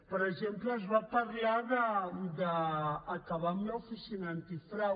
per exemple es va parlar d’acabar amb l’oficina antifrau